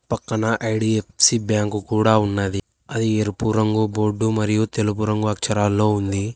పక్కన IDFC bank కూడా ఉన్నది అది ఎరుపు రంగు బోర్డు మరియు తెలుపు రంగు అక్షరాల్లో ఉంది.